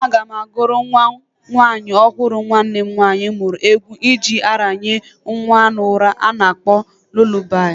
Aga m agụrụ nwa nwanyị ọfụrụ nwanne m nwanyị mmuru egwu eji aranye nwa n'ura a na-akpọ lulabai.